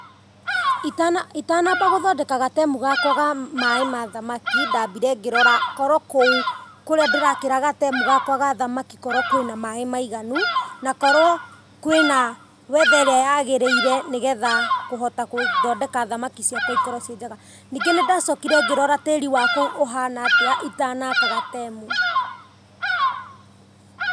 Itanamba gũthondeka gatemu gakwa ka maĩ ma thamaki ndamire ngĩrora korwo kou kũrĩa ndĩrakĩra gatemu gakwa ga thamaki korwo kwĩna maĩ maiganu, na korwo kwĩna Weather ĩrĩa yagĩrĩire nĩgetha kũhota gũthondeka thamaki ciakwa ikorwo ciĩ njega, ningĩ nĩ ndacokire ngĩrora tĩri wa kou ũhana atĩa itanaka gatemu.